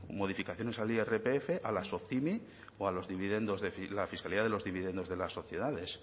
modificaciones al irpf a las optimi o a los dividendos de la fiscalidad de los dividendos de las sociedades